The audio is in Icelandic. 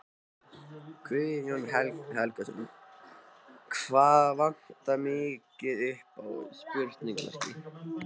Guðjón Helgason: Hvað vantar mikið upp á?